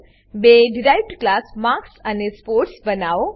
બે derived class marks અને sports બનાવો